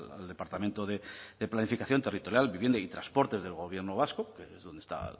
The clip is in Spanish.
al departamento de planificación territorial vivienda y transporte del gobierno vasco que es donde está